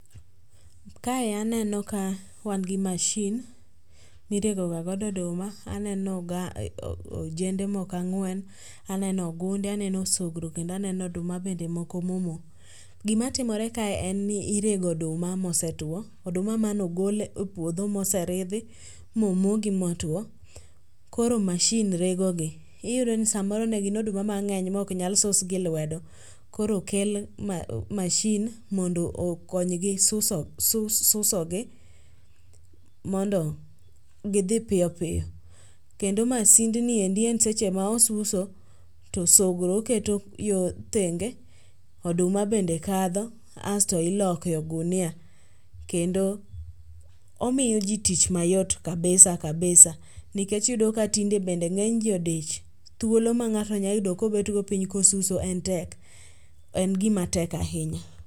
Kae aneno ka wan gi mashin mi irego ga godo oduma, aneno Oganda, ojende moko ang'wen, aneno ogunde, aneno osogro, aneno bende oduma moko ma omoo. Gi ma timre kae en ni irege oduma ma osetuo, oduma ma ne ogol e puodho ma oseridhi momoo gi ma otwo koro mashin rego gi. Iyudo ni sa moro ne gin oduma mang'eny ma ok nyal sus gi lwedo. Koro okel mashin mondo oknony gi suso gi mondo gi dhi piyo piyo. Kendo masind endi en seche ma osuso to osogro oketo yore thenge, asto oduma bende kadho, iloko e e gunia kendo omiyo ji tich mayot kabisa kabisa. Nikech iyudo ka tinde bende ng'eny ji odich, thuolo ma ng'ato nya yudo ka obet go piny ka osuso en tek en gi ma tek ahinya.